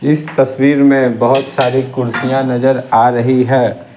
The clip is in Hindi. इस तस्वीर में बहुत सारी कुर्सियां नजर आ रही है।